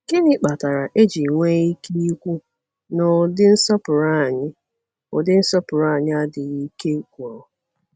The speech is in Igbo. Gịnị kpatara e ji nwee ike ikwu na ụdị nsọpụrụ anyị ụdị nsọpụrụ anyị adịghị ike gwụrụ?